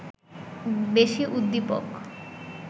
বেশি উদ্দীপক